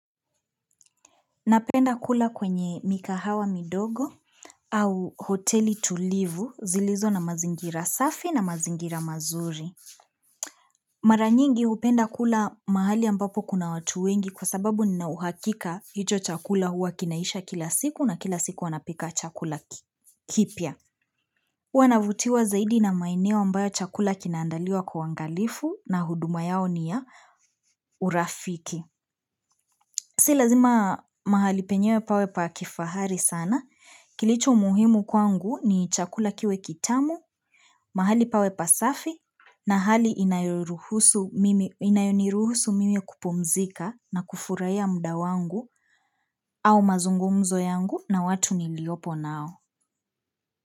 Napenda kula kwenye mikahawa midogo au hoteli tulivu zilizo na mazingira safi na mazingira mazuri Mara nyingi hupenda kula mahali ambapo kuna watu wengi kwa sababu ninauhakika hicho chakula huwa kinaisha kila siku na kila siku wanapika chakula kipya Huwa navutiwa zaidi na maeneo ambayo chakula kinaandaliwa kwa uangalifu na huduma yao ni ya urafiki Si lazima mahali penyewe pawe pa kifahari sana Kilicho muhimu kwangu ni chakula kiwe kitamu, mahali pawe pasafi na hali inayoruhusu mimi inayoniruhusu mimi kupumzika na kufurahia muda wangu au mazungumzo yangu na watu niliopo nao.